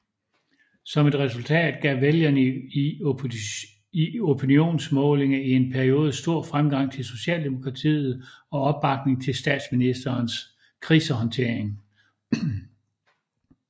Som et resultat gav vælgerne i opinionsmålinger i en periode stor fremgang til Socialdemokratiet og opbakning til statsministerens krisehåndtering